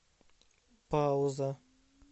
пауза